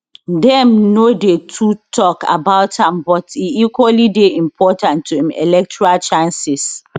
dem no dey too tok about am but e equally dey important to im electoral chances